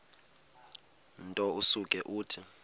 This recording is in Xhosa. nto usuke uthi